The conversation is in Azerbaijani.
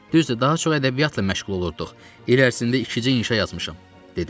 Düzdür, daha çox ədəbiyyatla məşğul olurduq, il ərzində ikicə inşa yazmışam.